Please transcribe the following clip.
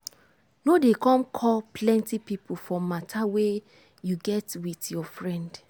no dey come call plenty pipo for matter wey you get with your friend.